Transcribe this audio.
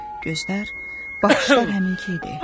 Gözlər, baxışlar həminki idi.